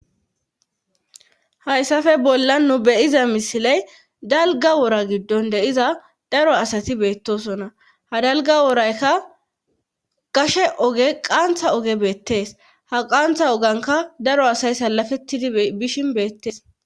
hayssafe bolla nu beyiza misiley dalga wora giddon deyiza daro asati beettosona ha dalga woraykka gashe oge qaantha oge beettees ha qantha oganka daro asay salafettidi bishin beettees.